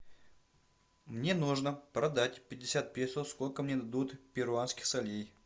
мне нужно продать пятьдесят песо сколько мне дадут перуанских солей